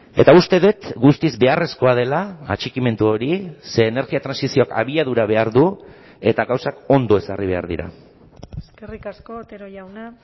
eta uste dut guztiz beharrezkoa dela atxikimendu hori ze energia trantsizioak abiadura behar du eta gauzak ondo ezarri behar dira eskerrik asko otero jauna